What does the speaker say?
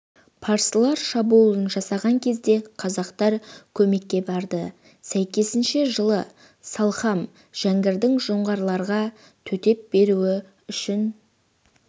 парсылар шабуыл жасаған кезде қазақтар көмекке барды сәйкесінше жылы салқам жәңгірдің жоңғарларға төтеп беруі үшін